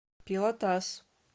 пелотас